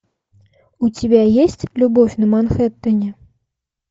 у тебя есть любовь на манхэттене